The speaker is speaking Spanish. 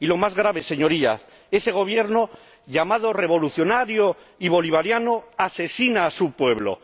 Y lo más grave, Señorías, ese Gobierno, llamado revolucionario y bolivariano, asesina a su pueblo.